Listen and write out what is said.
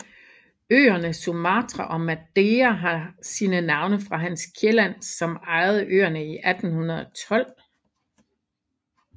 Øerne Sumatra og Madeira har sine navn fra Hans Kielland som eiede øerne i 1812